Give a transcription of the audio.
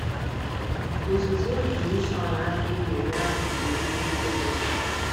Ozizi evolushọn adịghị enye azịza ezi uche dị na ya.